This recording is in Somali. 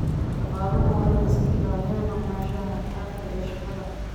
Shaqaaluhu waa inay iska ilaaliyaan maqnaanshaha xad dhaafka ah ee shaqada.